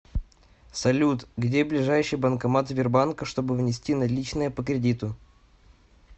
салют где ближайший банкомат сбербанка чтобы внести наличные по кредиту